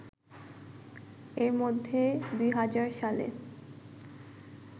এরই মধ্যে ২০০০ সালে